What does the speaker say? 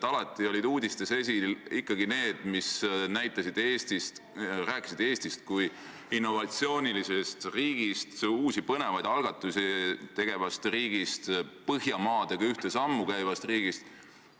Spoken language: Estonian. Varem olid uudistes esil ikkagi need uudised, mis rääkisid Eestist kui innovatsioonilisest riigist, uusi põnevaid algatusi tegevast riigist, Põhjamaadega ühte sammu käivast riigist.